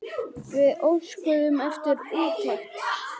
Við óskuðum eftir úttekt.